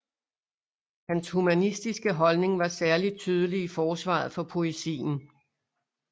Hans humanistiske holdning var særlig tydelig i forsvaret for poesien